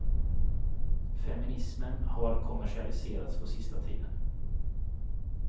Feminismen har kommersialiserats på sista tiden.